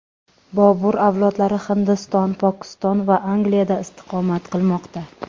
Bobur avlodlari Hindiston, Pokiston va Angliyada istiqomat qilmoqda.